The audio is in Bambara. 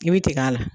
I bɛ tigɛ a la